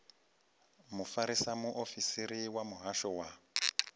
mufarisa muofisiri wa muhasho wa